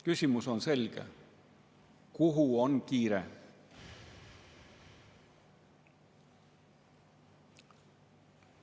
Küsimus on selge: kuhu on kiire?